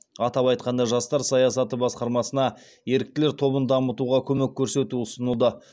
атап айтқанда жастар саясаты басқармасына еріктілер тобын дамытуға көмек көрсету ұсынылды